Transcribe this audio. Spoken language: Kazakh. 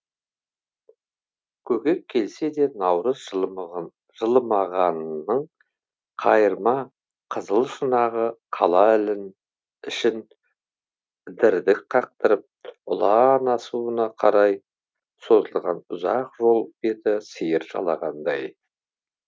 көкек келсе де наурыз жылымығын қайырма қызыл шұнағы қала ішін дірдік қақтырып ұлан асуына қарай созылған ұзақ жол беті сиыр жалағандай